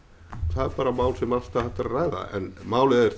er bara mál sem alltaf er hægt að ræða en málið er